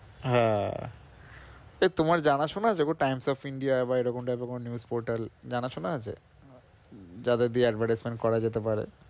হ্যাঁ এই তোমার জানা শোনা আছে গো Times of India বা এরকম type এর কোনো news portal জানাশোনা আছে? যাদের দিয়ে advertisement করা যেতে পারে?